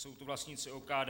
Jsou to vlastníci OKD.